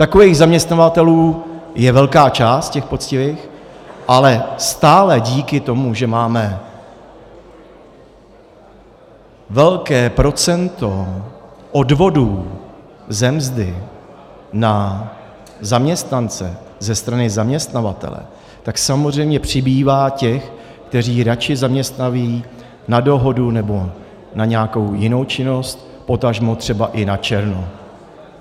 Takových zaměstnavatelů je velká část, těch poctivých, ale stále díky tomu, že máme velké procento odvodů ze mzdy na zaměstnance ze strany zaměstnavatele, tak samozřejmě přibývá těch, kteří radši zaměstnají na dohodu nebo na nějakou jinou činnost, potažmo třeba i načerno.